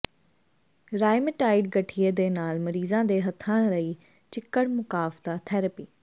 rheumatoid ਗਠੀਏ ਦੇ ਨਾਲ ਮਰੀਜ਼ਾਂ ਦੇ ਹੱਥਾਂ ਲਈ ਚਿੱਕੜ ਮੁਕਾਫਦਾ ਥੈਰੇਪੀ